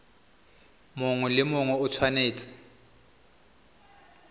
mongwe le mongwe o tshwanetse